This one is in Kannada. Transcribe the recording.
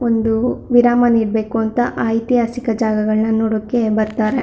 ಒಂದು ವಿರಾಮ ನೀಡಬೇಕು ಅಂತ ಐತಿಹಾಸಿಕ ಜಾಗಗಳನ್ನ ನೋಡಕೆ ಬರ್ತಾರೆ.